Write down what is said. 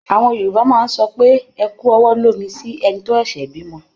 Àwọn Yorùbá máa sọ pé "ẹ kú ọwọ́ lómi" sí ẹni tó ṣẹ̀ṣẹ̀ bímọ.